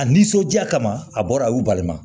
A nisɔnja kama a bɔra a y'u baliman